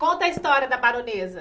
Conta a história da baronesa.